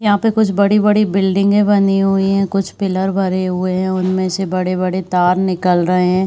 यहाँ पे कुछ बड़ी बड़ी बिल्डिंगे बनी हुई है | कुछ पिलर भरे हुए हैं | उनमे से बड़े बड़े तार निकल रहे हैं ।